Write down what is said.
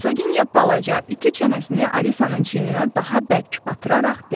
Hersoginya balaca iti çənəsini Alisanın çiyninə daha bərk batıraraq dedi.